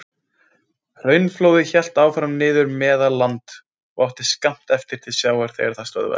Hraunflóðið hélt áfram niður í Meðalland og átti skammt eftir til sjávar þegar það stöðvaðist.